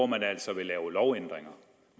man altså vil lave lovændringer